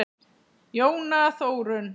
Jóna Þórunn.